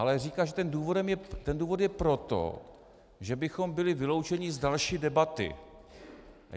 Ale říká, že tento důvod je proto, že bychom byli vyloučeni z další debaty.